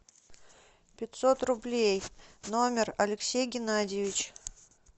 пятьсот рублей номер алексей геннадьевич